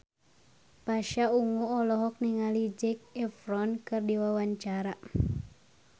Pasha Ungu olohok ningali Zac Efron keur diwawancara